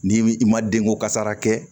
N'i i ma denko kasara kɛ